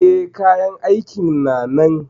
E, kayan aikin na nan.